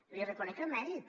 li reconec el mèrit